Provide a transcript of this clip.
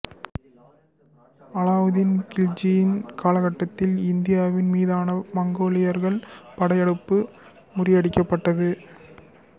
அலாவுதீன் கில்ஜியின் காலகட்டத்தில் இந்தியாவின் மீதான மங்கோலியர்கள் படையெடுப்பு முறியடிக்கப்பட்டது